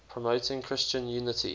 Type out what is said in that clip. promoting christian unity